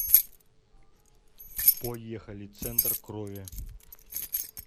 поехали центр крови